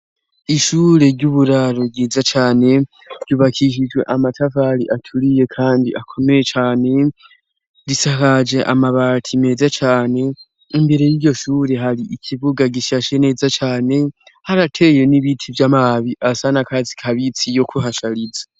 Ishure ry'uburaro ryiza cane, ryubakishijwe amatafari aturiye kandi akomeye cane, risakaje amabati meza cane, imbere y'iryo shure hari ikibuga gishashe neza cane ,harateye n'ibiti vy'amabi asanakatsi kabitsi yo kuhashariza.